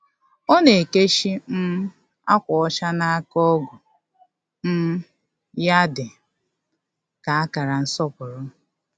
Ọ na-ekechi um akwa ọcha n’aka ọgu um ya dị ka akara nsọpụrụ.